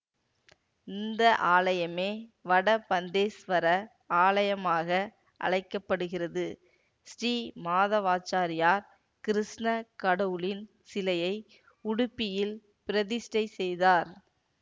இந்த ஆலயமே வடபந்தேஷ்வர ஆலயமாக அழைக்க படுகிறது ஸ்ரீ மாதவாச்சாரியார் கிருஷ்ணக் கடவுளின் சிலையை உடுப்பியில் பிரதிஷ்டை செய்தார்